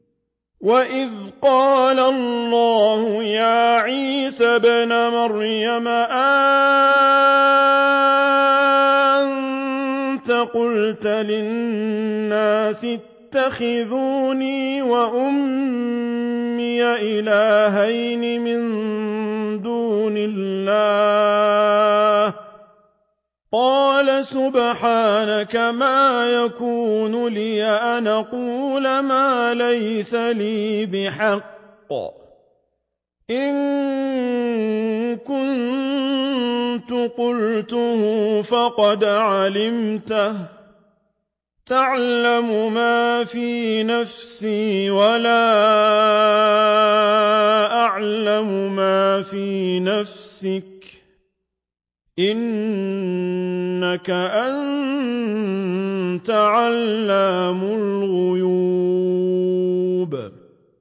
وَإِذْ قَالَ اللَّهُ يَا عِيسَى ابْنَ مَرْيَمَ أَأَنتَ قُلْتَ لِلنَّاسِ اتَّخِذُونِي وَأُمِّيَ إِلَٰهَيْنِ مِن دُونِ اللَّهِ ۖ قَالَ سُبْحَانَكَ مَا يَكُونُ لِي أَنْ أَقُولَ مَا لَيْسَ لِي بِحَقٍّ ۚ إِن كُنتُ قُلْتُهُ فَقَدْ عَلِمْتَهُ ۚ تَعْلَمُ مَا فِي نَفْسِي وَلَا أَعْلَمُ مَا فِي نَفْسِكَ ۚ إِنَّكَ أَنتَ عَلَّامُ الْغُيُوبِ